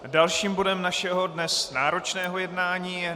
Dalším bodem našeho dnes náročného jednání je